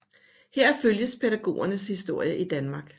Her følges pædagogernes historie i Danmark